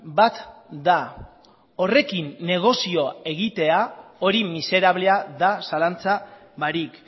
bat da horrekin negozioa egitea hori miserablea da zalantza barik